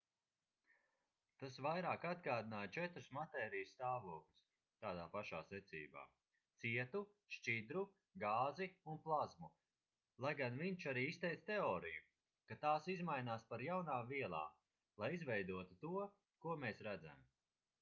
tas vairāk atgādināja četrus matērijas stāvokļus tādā pašā secībā: cietu šķidru gāzi un plazmu lai gan viņš arī izteica teoriju ka tās izmainās par jaunām vielām lai izveidotu to ko mēs redzam